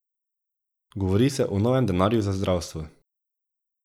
Govori se o novem denarju za zdravstvo.